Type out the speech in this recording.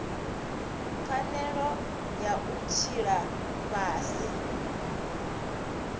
pfanelo ya u tshila fhasi